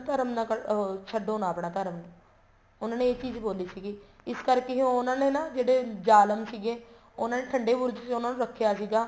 ਧਰਮ ਨਾਨ ਅਹ ਛੱਡੋ ਨਾ ਆਪਣਾ ਧਰਮ ਉਹਨਾ ਨੇ ਇਹ ਚੀਜ਼ ਬੋਲੀ ਸੀਗੀ ਇਸ ਕਰਕੇ ਉਹਨਾ ਨੇ ਨਾ ਜਿਹੜੇ ਜਾਲਮ ਸੀਗੇ ਉਹਨਾ ਨੇ ਠੰਡੇ ਬੁਰਜ ਚ ਉਹਨਾ ਨੂੰ ਰੱਖਿਆ ਸੀਗਾ